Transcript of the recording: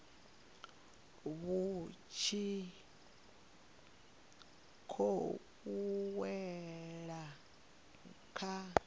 vhu tshi khou wela kha